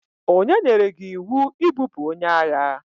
Onye nyere gi iwu ibupu onye agha?